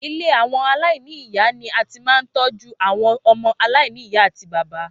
Ilé àwọn aláìní ìyá ni a a máa ń tí ń tọ́jú àwọn ọmọ aláìní ìyá àti bàbá